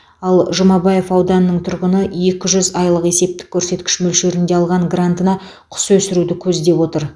ал жұмабаев ауданының тұрғыны екі жүз айлық есептік көрсеткіш мөлшерінде алған грантына құс өсіруді көздеп отыр